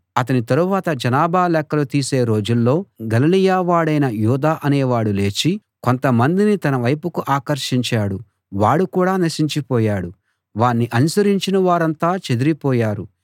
అతని తరువాత జనాభా లెక్కలు తీసే రోజుల్లో గలిలయవాడైన యూదా అనేవాడు లేచి కొంతమందిని తన వైపుకు ఆకర్షించాడు వాడు కూడా నశించిపోయాడు వాణ్ణి అనుసరించిన వారంతా చెదరిపోయారు